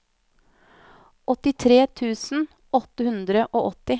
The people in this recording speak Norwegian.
åttitre tusen åtte hundre og åtti